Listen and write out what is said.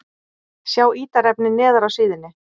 Sjá ítarefni neðar á síðunni